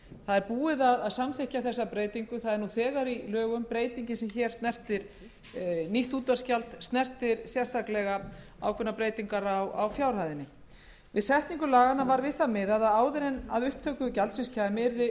er búið að samþykkja þessa breytingu það er nú þegar í lögum nýtt útvarpsgjald snertir sérstaklega ákveðnar breytingar á fjárhæðinni við setningu laganna var við það miðað að áður en að upptöku gjaldsins kæmi yrði fjárhæð